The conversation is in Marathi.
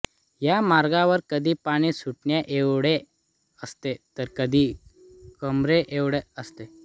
या मार्गावर कधी पाणी गुडघ्याएवढे असते तर कधी कमरे एवढे असते